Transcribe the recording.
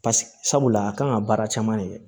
sabula a kan ka baara caman kɛ